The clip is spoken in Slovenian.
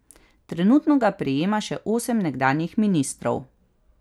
Trenutno ga prejema še osem nekdanjih ministrov.